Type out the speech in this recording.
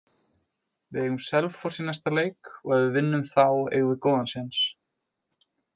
Við eigum Selfoss í næsta leik og ef við vinnum þá eigum við góðan séns.